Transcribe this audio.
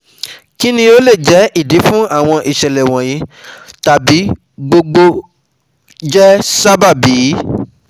Kini o le jẹ idi fun awọn iṣẹlẹ wọnyi tabi gbogbo jẹ sababi?